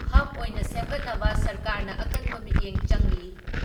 Hub ꯑꯣꯏꯅ ꯁꯦꯝꯒꯠꯅꯕ ꯁꯔꯀꯥꯔꯅ ꯑꯀꯟꯕ ꯃꯤꯠꯌꯦꯡ ꯆꯪꯂꯤ ꯫